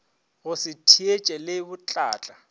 go se theetše le botlatla